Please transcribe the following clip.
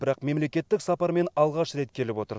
бірақ мемлекеттік сапармен алғаш рет келіп отыр